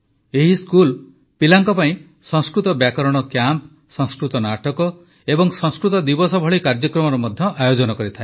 ଏହି ସ୍କୁଲ୍ ପିଲାଙ୍କ ପାଇଁ ସଂସ୍କୃତ ବ୍ୟାକରଣ କ୍ୟାମ୍ପ୍ ସଂସ୍କୃତ ନାଟକ ଓ ସଂସ୍କୃତ ଦିବସ ଭଳି କାର୍ଯ୍ୟକ୍ରମର ମଧ୍ୟ ଆୟୋଜନ କରିଥାଏ